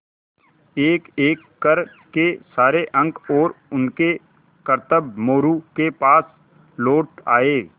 एकएक कर के सारे अंक और उनके करतब मोरू के पास लौट आये